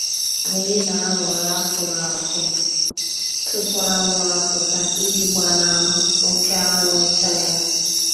Anyị na-ahọrọ akụrụ akụ tupu anwụ apụta iji gbanahụ oké anwụ ịcha ya.